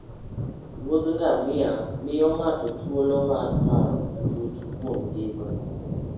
Wuoth ngamia miyo ng'ato thuolo mar paro matut kuom ngima.